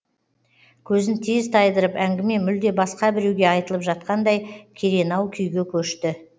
көзін тез тайдырып әңгіме мүлде басқа біреуге айтылып жатқандай керенау күйге көшті